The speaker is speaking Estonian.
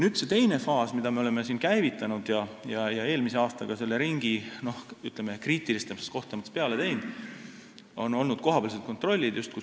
Teine faas, mille me oleme käivitanud ja millele oleme eelmise aastaga kriitilisemates kohtades ringi peale teinud, on kohapealsed kontrollid.